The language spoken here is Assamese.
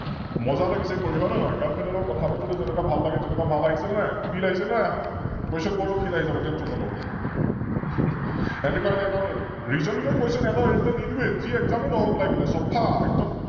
মজা লাগিছে লগত কৰি হয় নে নহয়? Girlfriend ৰ লগত কথা পাতোতে যেনেকোৱা ভাল লাগে তেনেকোৱা ভাল আহিছে নে নাই? Feel আহিছে নে নাই আহা? Question কৰাটো Feel আহি যাব Tention নলবা । এনেকোৱা আহিলে এটাও নেৰো, Reasoning ৰ Question এটাও এৰিবলৈ নিদিওয়ে, যি Exam ও নহওক লাগিলে, চফা!